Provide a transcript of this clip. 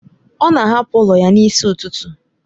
Ọ na-ahapụ ụlọ ya n'isi ụtụtụ